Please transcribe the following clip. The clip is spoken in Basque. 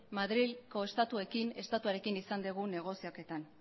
madrileko estatuarekin izan dugun negoziaketan